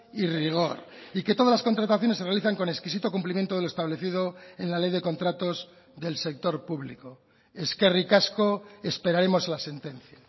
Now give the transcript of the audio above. y rigor y que todas las contrataciones se realizan con exquisito cumplimiento de lo establecido en la ley de contratos del sector público eskerrik asko esperaremos la sentencia